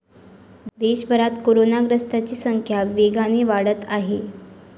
देशभरात कोरोनाग्रस्तांची संख्या वेगाने वाढत आहे.